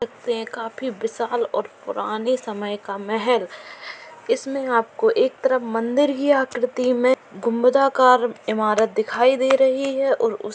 ये काफी विशाल और पुराने समय का मेहल इसमें आपको एक तरफ मंदिर ही आकृति में गुंबदाकार इमारत दिखाई दे रही है और उस --